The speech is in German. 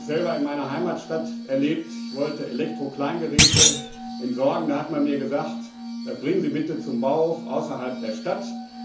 Ich habe das selber in meiner Heimatstadt erlebt Ich wollte Elektrokleingeräte entsorgen, da hat man mir gesagt Das bringen Sie bitte zum Bauhof außerhalb der Stadt.